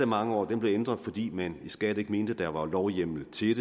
mange år blev ændret fordi man i skat ikke mente at der var lovhjemmel til